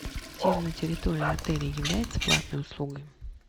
тир на территории отеля является платной услугой